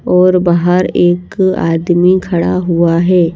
और बाहर एक आदमी खड़ा हुआ है।